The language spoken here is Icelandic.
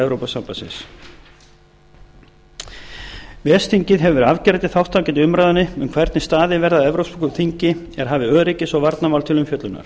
evrópusambandsins ves þingið hefur afgerandi þátttöku í umræðunni um hvernig staðið verði að evrópsku þingi er hafi öryggis og varnarmál til umfjöllunar